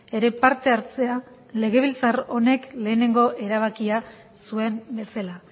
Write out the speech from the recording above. ere parte hartzea legebiltzar honek lehenengo erabakia zuen bezala